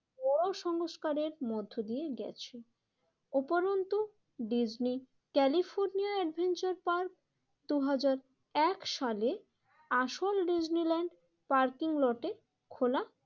বড়ো সংস্কারের মধ্য দিয়ে গেছে। ওপরন্ত ডিজনি ক্যালিফোর্নিয়ার অ্যাডভেঞ্চার পার্ক দুই হাজার এক সালে আসল ডিজনিল্যান্ড পার্কিং লটে খোলা